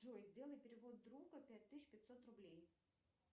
джой сделай перевод другу пять тысяч пятьсот рублей